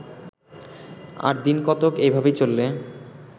আর দিনকতক এইভাবে চললে